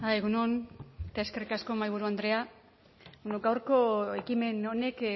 egun on eta eskerrik asko mahaiburu andrea gaurko ekimen honek